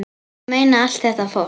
Ég meina, allt þetta fólk!